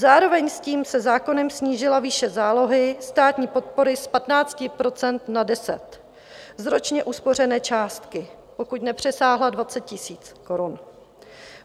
Zároveň s tím se zákonem snížila výše zálohy státní podpory z 15 % na 10 % z ročně uspořené částky, pokud nepřesáhla 20 000 korun.